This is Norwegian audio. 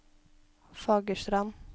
Fagerstrand